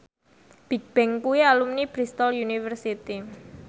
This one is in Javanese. Bigbang kuwi alumni Bristol university